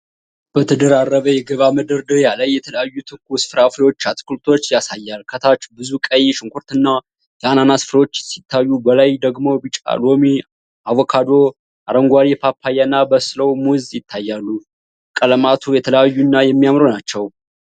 በተደራረበ የገበያ መደርደሪያ ላይ የተለያዩ ትኩስ ፍራፍሬዎችና አትክልቶች ያሳያል። ከታች ብዙ ቀይ ሽንኩርትና የአናናስ ፍሬዎች ሲታዩ፣ በላይ ደግሞ ቢጫ ሎሚ፣ አቮካዶ፣ አረንጓዴ ፓፓያና በሰበበ ሙዝ ይታያሉ። ቀለማቱ የተለያዩና የሚያምሩ ናቸው።